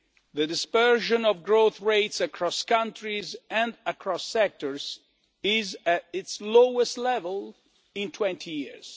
The dispersion of growth rates across countries and across sectors is at its lowest level in 20 years.